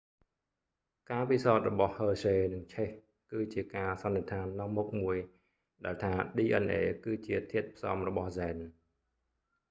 ការពិសោធន៍របស់ហឺស្ហេយ៍ hershey និងឆេស chase គឺជាការសន្និដ្ឋាននាំមុខមួយដែលថា dna គឺជាធាតុផ្សំរបស់ហ្សែន